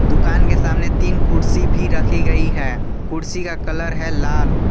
दुकान के सामने तीन कुर्सी भी रखी गई है कुर्सी का कलर है लाल।